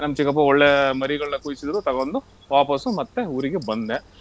ನಮ್ ಚಿಕ್ಕಪ್ಪ ಒಳ್ಳೆ ಮರಿಗಳನ್ನ ಕುಯ್ಸಿದ್ರು ತಗೊಂಡು ವಾಪಾಸು ಮತ್ತೆ ಊರಿಗೆ ಬಂದೆ.